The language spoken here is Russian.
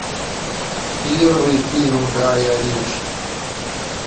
первый фильм гая ричи